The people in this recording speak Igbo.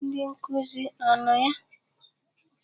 Ndị nkuzi a no ya?